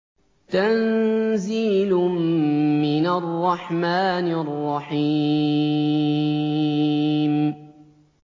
تَنزِيلٌ مِّنَ الرَّحْمَٰنِ الرَّحِيمِ